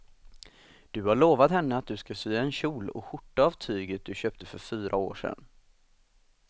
Du har lovat henne att du ska sy en kjol och skjorta av tyget du köpte för fyra år sedan.